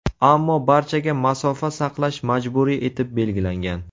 Ammo barchaga masofa saqlash majburiy etib belgilangan.